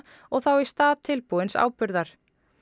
og þá í stað tilbúins áburðar